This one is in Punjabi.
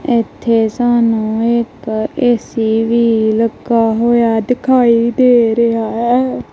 ਇਥੇ ਸਾਨੂੰ ਇੱਕ ਏ_ਸੀ ਵੀ ਲੱਗਾ ਹੋਇਆ ਦਿਖਾਈ ਦੇ ਰਿਹਾ ਹੈ।